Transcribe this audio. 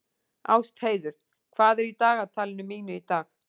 Ástheiður, hvað er í dagatalinu mínu í dag?